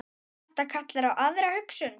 Þetta kallar á aðra hugsun.